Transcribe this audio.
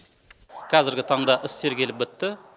қазіргі таңда іс тергеліп бітті